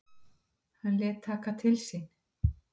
Hann lét taka til sín.